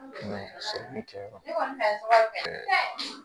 kɛ yɔrɔ kɔni